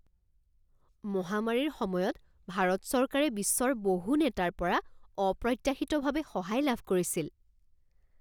মহামাৰীৰ সময়ত ভাৰত চৰকাৰে বিশ্বৰ বহু নেতাৰ পৰা অপ্ৰত্যাশিতভাৱে সহায় লাভ কৰিছিল